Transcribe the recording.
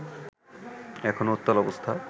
এখনো উত্তাল অবস্থা